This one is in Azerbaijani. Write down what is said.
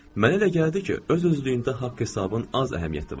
Mənə elə gəldi ki, öz-özlüyündə haqq hesabın az əhəmiyyəti var.